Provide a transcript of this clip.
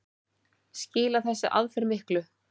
Skilar þessi aðferð miklu?